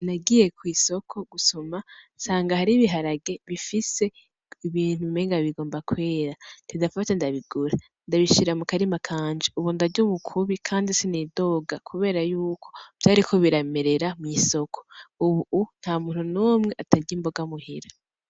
Nagiye kw'isoko gusuma nsanga hari ibiharage bifise Ibintu umengo kwera ca ndafata ndabigura ndabishira mukarima kanje ubu ndarya umukubi kandi sinidoga kubera Yuko vyariko biramerera mw'isoko Ubu ntamuntu n'umwe atarya imboga muhira .